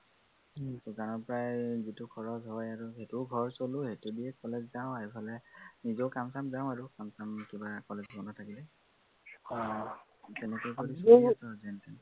দোকনাৰ পৰাই গোটেই খৰচ হয় আৰু। সেইটোও খৰচ হলেও সেইটো দিয়েই college যাওঁ আৰু এইফালে নিজেও কাম চাম যাও আৰু কাম চাম কিবা college বন্ধ থাকিলে সেই তেনেকেই আৰু